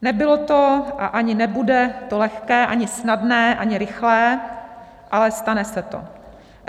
Nebylo to a ani to nebude lehké, ani snadné, ani rychlé, ale stane se to.